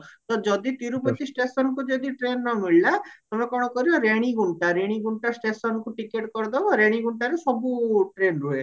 ତ ଯଦି ତିରୁପତି stationକୁ ଯଦି train ନମିଳିଲା ତମେ କଣ କରିବା ରେଣୀଗୁଣ୍ଟା ରେଣୀଗୁଣ୍ଟା stationକୁ ticket କରିଦବ ରେଣୀଗୁଣ୍ଟାରୁ ସବୁ train ରୁହେ